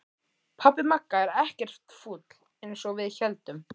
Pabbi Magga er ekkert fúll eins og við héldum!